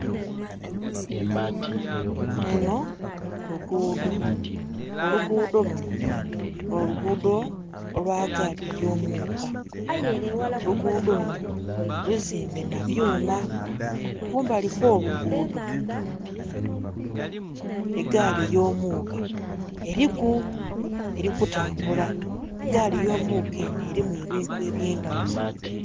Lunho luguudho, oluguudho lunho nho luguudho olwa gaali eyo muuka, oluguudho luunho luzimbe nha byuma. Kumbali okwo luguudho egaali eyo muka eriku erikutambula. Egaali eyo muka enho eriku ebintu ebyendaghulo